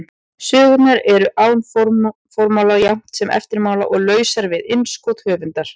Sögurnar eru án formála jafnt sem eftirmála og lausar við innskot höfundar.